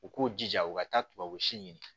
U k'u jija u ka taa tubabu si ɲini